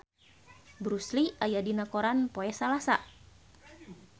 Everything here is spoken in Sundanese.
Bruce Lee aya dina koran poe Salasa